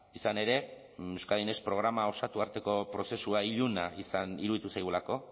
izan ere euskadi next programa osatu arteko prozesua iluna iruditu zaigulako